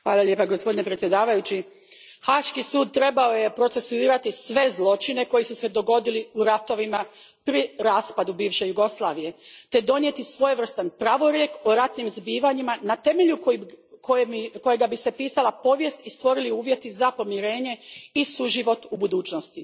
Gospodine predsjedniče, Haški sud trebao je procesuirati sve zločine koji su se dogodili u ratovima pri raspadu bivše Jugoslavije te donijeti svojevrstan pravorijek o ratnim zbivanjima na temelju kojega bi se pisala povijest i stvorili uvjeti za pomirenje i suživot u budućnosti.